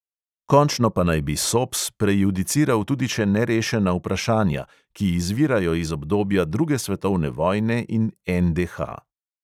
Končno pa naj bi sops prejudiciral tudi še nerešena vprašanja, ki izvirajo iz obdobja druge svetovne vojne in NDH.